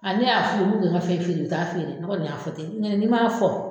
Ali ne y'a f'u ye k'u ka ne ka fɛn feere u t'a feere ne kɔni y'a fɔ ten un tɛ n'i ma fɔ